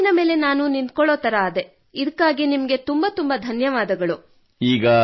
ನನ್ನ ಕಾಲಿನ ಮೇಲೆ ನಾನು ನಿಂತುಕೊಳ್ಳುವಂತಾದೆ ಇದಕ್ಕಾಗಿ ತುಂಬ ತುಂಬ ಧನ್ಯವಾದಗಳು